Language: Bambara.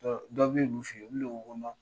Dɔ b'olu fen, olu le ko o ma.